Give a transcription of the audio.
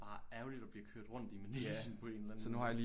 Bare ærgerligt at blive kørt rundt i manegen på en eller anden måde